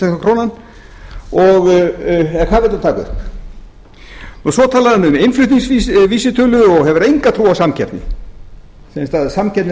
krónan hvað vill hann taka upp svo talaði hann um innflutningsvísitölu og hefur enga trú á samkeppni samkeppni er haldin í nei